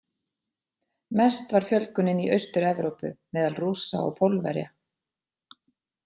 Mest var fjölgunin í Austur-Evrópu, meðal Rússa og Pólverja.